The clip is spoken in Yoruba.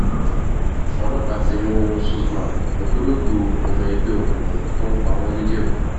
ọlọ́pàá ti mú suzeman ògbólógbòó ọmọ ẹgbẹ́ òkùnkùn tó ń pa wọ́n nìjẹ̀bù